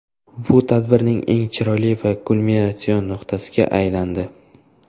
Bu tadbirning eng chiroyli va kulminatsion nuqtasiga aylandi.